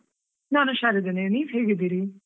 ನಾನ್ ಉಷಾರಿದ್ದೇನೆ, ನೀವ್ ಹೇಗಿದ್ದೀರಿ?